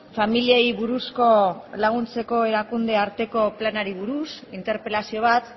familiei buruzko laguntzeko erakunde arteko planari buruz interpelazio bat